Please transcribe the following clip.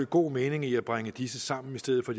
god mening i at bringe disse sammen i stedet for